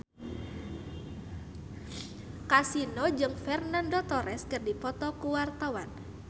Kasino jeung Fernando Torres keur dipoto ku wartawan